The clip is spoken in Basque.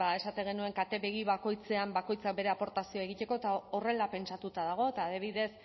esaten genuen katebegi bakoitzean bakoitzak bere aportazioa egiteko eta horrela pentsatuta dago eta adibidez